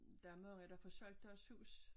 Der mange der får solgt deres hus